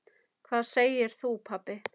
Hvað segir þú pabbi?